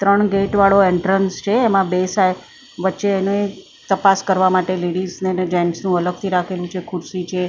ત્રણ ગેટ વાળો એન્ટ્રેન્સ છે એમાં બે સાય વચ્ચે એને તાપસ કરવા માટે લેડીઝ અને જેન્ટસ નું અલગથી રાખેલું છે ખુરસી છે.